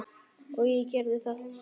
Og ég gerði það.